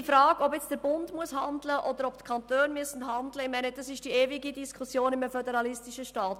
Die Frage, ob der Bund oder die Kantone handeln müssen, ist die ewige Frage in einem föderalistischen Staat.